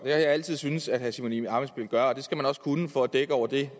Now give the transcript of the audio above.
jeg altid syntes at herre simon emil ammitzbøll gør og det skal man også kunne for at dække over det